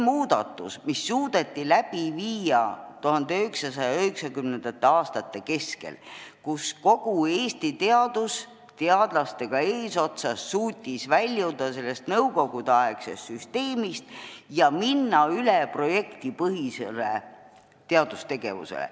1990. aastate keskel suudeti läbi viia muudatus, kogu Eesti teadus teadlastega eesotsas suutis väljuda nõukogudeaegsest süsteemist ja minna üle projektipõhisele teadustegevusele.